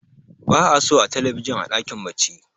ba a so a talabijin a dakin bacci